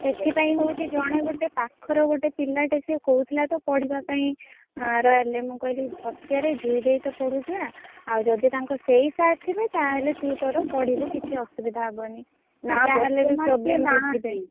ସେଥି ପାଇଁ ହଉଛି ଜଣେ ଗୋଟେ ପାଖର ଗୋଟେ ପିଲାଟେ ସିଏ କହୁଥିଲା ତ ପଢିବା ପାଇଁ ଆଁ royal ରେ ମୁଁ କହିଲି ପଚାରେ ଜୁଇ ଦେଇ ତ ପଢୁଥିଲା। ଆଉ ଯଦି ତାଙ୍କ ସେଇ sir ଥିବେ ତାହେଲେ ତୁ ତୋର ପଢିବୁ କିଛି ଅସୁବିଧା ହବନି।